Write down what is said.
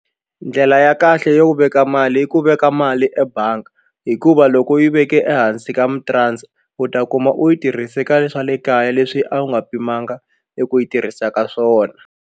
Ndlela ya kahle ya ku veka mali yi ku veka mali ebangi hikuva loko u yi veke ehansi ka mutiransa kuma u yi tirhise ka le swa le kaya leswi a wu nga pimanga eku yi tirhisa ka swona.